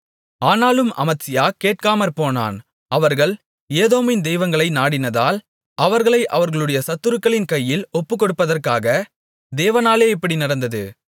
ஆனாலும் அமத்சியா கேட்காமற்போனான் அவர்கள் ஏதோமின் தெய்வங்களை நாடினதால் அவர்களை அவர்களுடைய சத்துருக்களின் கையில் ஒப்புக்கொடுப்பதற்காக தேவனாலே இப்படி நடந்தது